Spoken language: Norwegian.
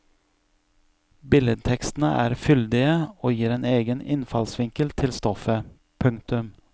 Billedtekstene er fyldige og gir en egen innfallsvinkel til stoffet. punktum